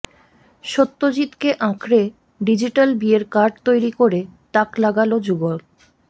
সত্যজিৎকে আঁকড়ে ডিজিটাল বিয়ের কার্ড তৈরি করে তাক লাগাল যুগল